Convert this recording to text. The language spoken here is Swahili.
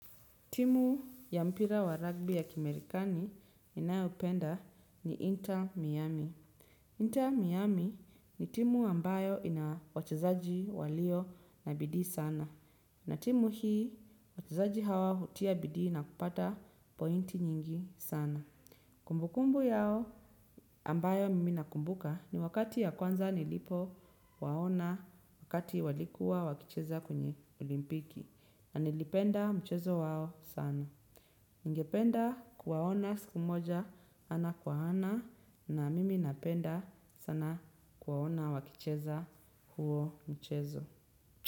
Timu ya mpira wa rugby ya kimarekani ninayopenda ni Inter Miami Inter Miami ni timu ambayo ina wachezaji walio na bidii sana. Na timu hii wachezaji hawa hutia bidii na kupata pointi nyingi sana. Kumbu kumbu yao ambayo mimi nakumbuka ni wakati ya kwanza nilipo waona wakati walikuwa wakicheza kwenye olimpiki na nilipenda mchezo wao sana. Ningependa kuwaona siku moja ana kwa ana na mimi napenda sana kuwaona wakicheza huo mchezo.